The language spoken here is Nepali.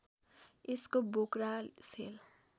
यसको बोक्रा सेल